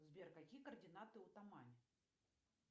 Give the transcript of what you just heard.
сбер какие координаты у тамань